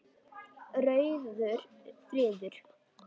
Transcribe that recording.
Rauður friður